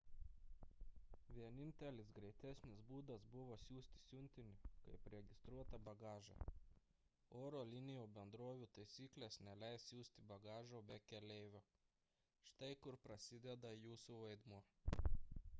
vienintelis greitesnis būdas buvo siųsti siuntinį kaip registruotą bagažą oro linijų bendrovių taisyklės neleis siųsti bagažo be keleivio štai kur prasideda jūsų vaidmuo